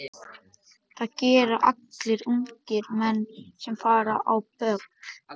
Það gera allir ungir menn sem fara á böll.